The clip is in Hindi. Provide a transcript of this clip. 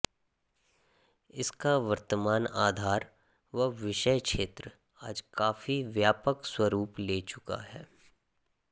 इसका वर्तमान आधार व विषय क्षेत्र आज काफी व्यापक स्वरूप ले चुका है